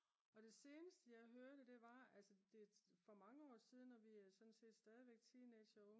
og det seneste jeg hørte det var altså det er for mange år siden og vi er sådan set stadigvæk teenagere